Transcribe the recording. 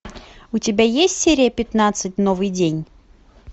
у тебя есть серия пятнадцать новый день